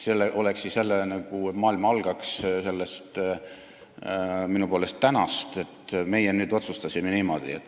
See on jälle sedamoodi, nagu maailm algaks sellest minu poolest "tänast", et meie nüüd otsustasime niimoodi.